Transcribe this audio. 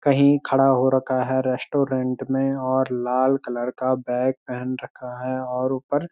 कहीं खड़ा हो रखा है रेस्टोरेंट में और लाल कलर का बैग पहन रखा है और ऊपर --